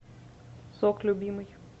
сок любимый